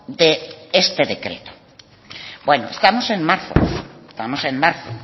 de este decreto bueno estamos en marzo estamos en marzo